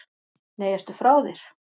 Nei, ertu frá þér!